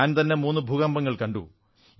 ഞാൻ തന്നെ മൂന്നു ഭൂകമ്പങ്ങൾ കണ്ടു